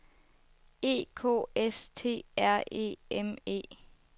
E K S T R E M E